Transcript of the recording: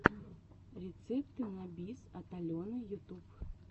рецепты на бис от алены ютуб